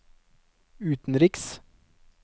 utenriks